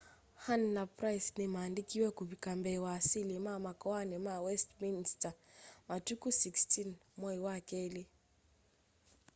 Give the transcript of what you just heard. huhne na pryce ni mandikiwe kuvika mbee wa asili ma makoani ma westminster matuku 16 mwai wa keli